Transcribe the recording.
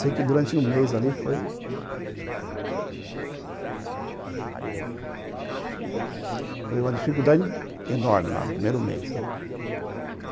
Sei que durante um mês ali foi... Foi uma dificuldade enorme lá no primeiro mês, né?